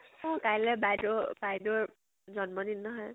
অ, কাইলৈ বাইদেউ বাইদেউৰ জন্ম দিন নহয়।